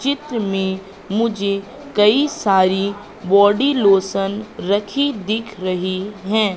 चित्र में मुझे कई सारी बॉडी लोशन रखी दिख रही हैं।